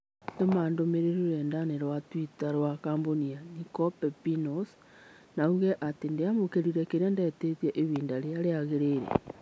tũma ndũmīrīri rũrenda-inī rũa tũita rũa kambũni ya Niko Pepinos na uuge atĩ ndiamũkĩrire kĩrĩa ndetītie ihinda rĩrĩa rĩagĩrĩire